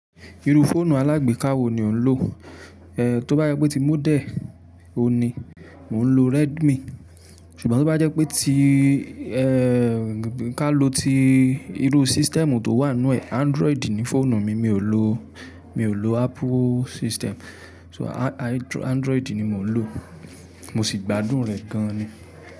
Irú fóònù alágbèká wo ni o ń lò? Tó bá jẹ́ pé tí módel oun ni, mò ń lo Redmi. Ṣùgbọ́n tó bá jẹ́ pé tí, kí á lo ti, irú system tó wà nínú ẹ̀, Android ni fóònù mi. Mi ò lò, mi ò lò Apple system. So And-Andr-Android ni mò ń lò. Mo sì gbádùn rẹ̀ gan-an ni.